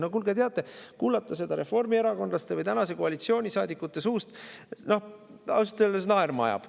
No kuulge, teate, kuulata seda reformierakondlaste või tänase koalitsiooni saadikute suust – ausalt öeldes naerma ajab.